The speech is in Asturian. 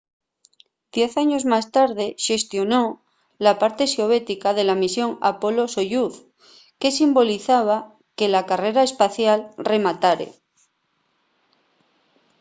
diez años más tarde xestionó la parte soviética de la misión apolo-soyuz que simbolizaba que la carrera espacial rematare